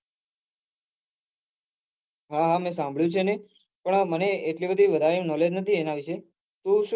હા હા મેં સાંભળું છે ને પન આ મને એટલી બઘી હેરાની મને નથી એના વિશે તો શું